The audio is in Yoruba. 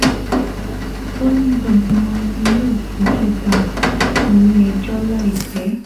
ó ní gbogbo wọn ni yóò fojú ba ilé-ẹjọ́ láìpẹ́